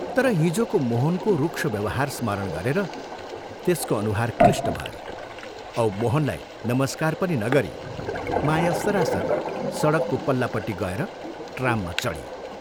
तर हिजोको मोहनको रूक्ष व्यवहार स्मरण गरेर त्यसको अनुहार क्लिष्ट भयो औ मोहनलाई नमस्कार पनि नगरी माया सरासर सडकको पल्लापट्टि गएर ट्राममा चढी।